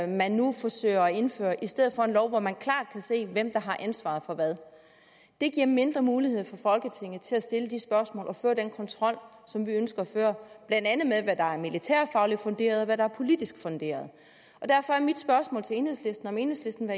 man nu forsøger at indføre i stedet for en lov hvori man klart kan se hvem der har ansvaret for hvad det giver mindre mulighed for folketinget til at stille de spørgsmål og føre den kontrol som vi ønsker at føre blandt andet med hvad der er militærfagligt funderet og hvad der er politisk funderet derfor er mit spørgsmål til enhedslisten om enhedslisten